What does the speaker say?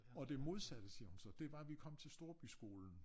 Og det modsatte siger hun så det var vi kom til storbyskolen